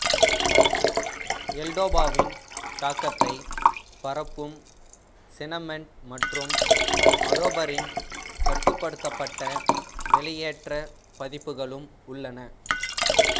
எல்டோபாவின் தாக்கத்தை பரப்பும் சினெமெட் மற்றும் மடோபரின் கட்டுப்படுத்தப்பட்ட வெளியேற்ற பதிப்புகளும் உள்ளன